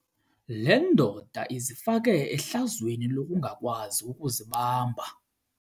Le ndoda izifake ehlazweni lokungakwazi ukuzibamba.